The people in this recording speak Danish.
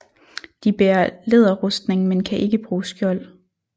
De bærer læderrustning men kan ikke bruge skjold